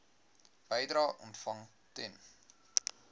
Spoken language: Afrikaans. bedrae ontvang ten